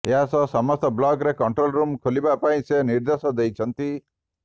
ଏହାସହ ସମସ୍ତ ବ୍ଲକରେ କଣ୍ଟ୍ରୋଲ ରୁମ୍ ଖୋଲିବା ପାଇଁ ସେ ନିର୍ଦ୍ଦେଶ ଦେଇଛନ୍ତି